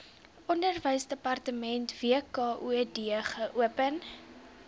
onderwysdepartement wkod geopen